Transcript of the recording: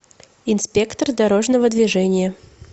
инспектор дорожного движения